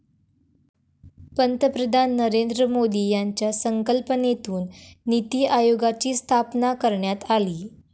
पंतप्रधान नरेंद्र मोदी यांच्या संकल्पनेतून नीती आयोगाची स्थापना करण्यात आली.